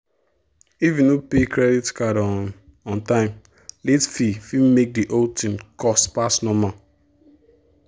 if you no pay credit card on on time late fee fit make the whole thing cost pass normal.